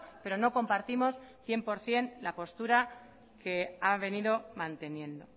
pero no compartimos cien por ciento la postura que ha venido manteniendo